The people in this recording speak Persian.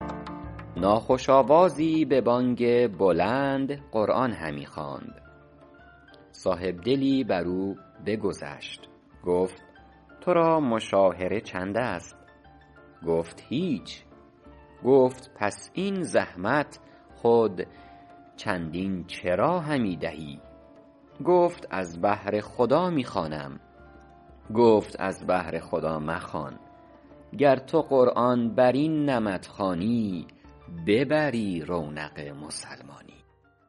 ناخوش آوازی به بانگ بلند قرآن همی خواند صاحبدلی بر او بگذشت گفت تو را مشاهره چند است گفت هیچ گفت پس این زحمت خود چندین چرا همی دهی گفت از بهر خدا می خوانم گفت از بهر خدا مخوان گر تو قرآن بر این نمط خوانی ببری رونق مسلمانی